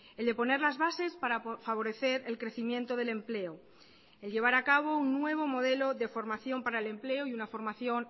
el de poner las bases para favorecer el crecimiento del empleo el llevar a cabo un nuevo modelo de formación para el empleo y una formación